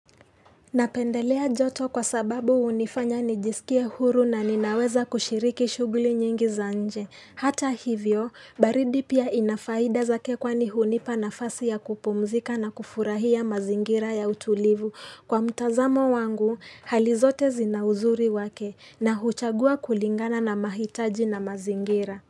Napendelea joto kwa sababu hunifanya nijisikie huru na ninaweza kushiriki shughuli nyingi za nje. Hata hivyo, baridi pia inafaida zake kwani hunipa nafasi ya kupumzika na kufurahia mazingira ya utulivu. Kwa mtazamo wangu, hali zote zina uzuri wake na huchagua kulingana na mahitaji na mazingira.